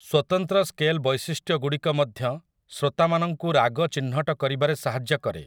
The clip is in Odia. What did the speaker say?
ସ୍ୱତନ୍ତ୍ର ସ୍କେଲ୍ ବୈଶିଷ୍ଟ୍ୟଗୁଡ଼ିକ ମଧ୍ୟ ଶ୍ରୋତାମାନଙ୍କୁ ରାଗ ଚିହ୍ନଟ କରିବାରେ ସାହାଯ୍ୟ କରେ ।